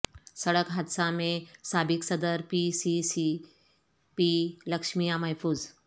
سڑک حادثہ میںسابق صدر P C C P Lakshmaiah محفوظ